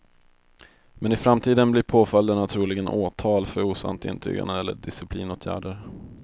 Men i framtiden blir påföljderna troligen åtal för osant intygande eller disciplinåtgärder.